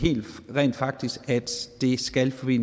rent faktisk at det skal forbi